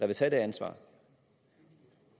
vil tage det ansvar